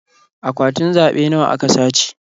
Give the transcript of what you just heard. Akwatunan zaɓe nawa aka sace?